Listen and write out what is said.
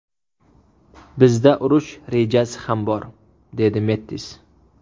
Bizda urush rejasi ham bor”, dedi Mettis.